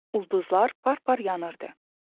Ulduzlar par-par yanırdı.